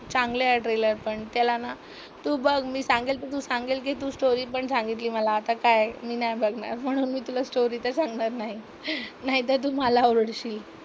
चांगले आहे ट्रेलर पण. त्याला ना, तू बघ मी सांगेल तू सांगेल की तू स्टोरी पण सांगितली मला. आता काय मी नाही बघणार म्हणून मी तुला स्टोरी तर सांगणार नाही. नाहीतर तु मला ओरडशील.